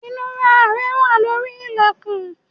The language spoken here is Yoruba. Inura rẹ wà lórí ilẹkun